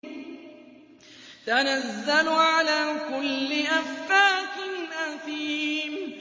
تَنَزَّلُ عَلَىٰ كُلِّ أَفَّاكٍ أَثِيمٍ